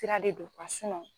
Tira de do